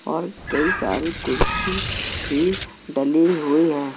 और कई सारी कुर्सी भी डली हुई है।